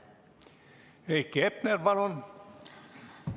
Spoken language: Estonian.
Heiki Hepner, palun!